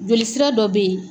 Joli sira dɔ bɛ ye.